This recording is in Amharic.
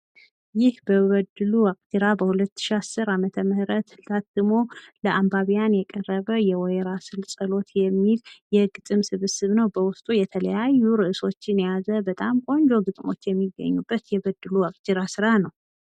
ይህ በበድሉ ዋቅጅራ በሁለት ሺ አስር አመተ ምህረት ታትሞ ለአባቢያን የቀረበ የወይራ ስር ፀሎት የሚል የግጥም ስብስብ ነው። በውስጡ የተለያዩ እርዕሶችን የያዘ በጣም ቆንጆ ግጥሞች የሚገኙበት የበድሉ ዋቅጅራ ስራ ነው።